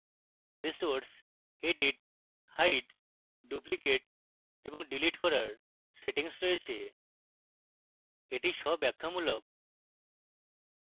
resource edit hide duplicate এবং delete করার settings রয়েছে